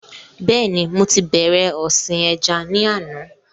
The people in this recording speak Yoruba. Bẹ́ẹ̀ni mo ti bẹ̀rẹ̀ ọ̀sìn ẹja ni àná